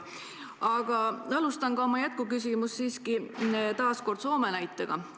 Aga ma alustan ka oma jätkuküsimust Soome näitega.